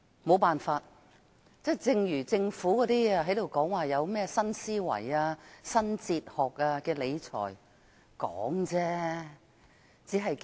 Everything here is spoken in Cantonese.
沒辦法，正如政府談論新思維、理財新哲學，全都是空談。